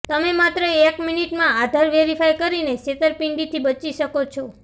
તમે માત્ર એક મિનિટમાં આધાર વેરીફાઈ કરીને છેતરપિંડીથી બચી શકો છો